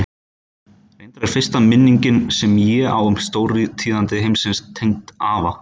Reyndar er fyrsta minningin sem ég á um stórtíðindi heimsins tengd afa.